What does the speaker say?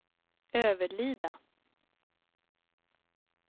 Överlida